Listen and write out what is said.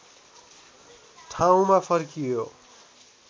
ठाउँमा फर्कियो